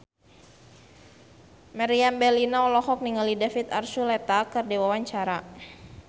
Meriam Bellina olohok ningali David Archuletta keur diwawancara